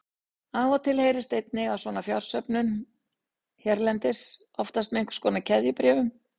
Af og til heyrist einnig af svona fjársöfnun hérlendis, oftast með einhvers konar keðjubréfum.